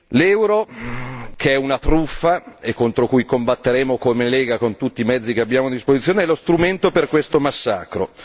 L'euro che è una truffa e contro cui combatteremo come Lega con tutti i mezzi che abbiamo a disposizione è lo strumento per questo massacro!